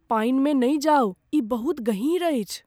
पानिमे नहि जाउ। ई बहुत गहीर अछि!